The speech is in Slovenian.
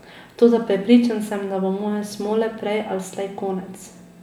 Toda prepričan sem, da bo moje smole prej ali slej konec.